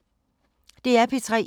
DR P3